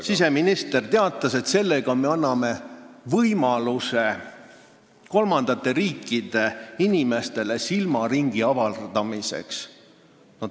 Siseminister teatas, et sellega me anname kolmandate riikide inimestele võimaluse silmaringi avardada.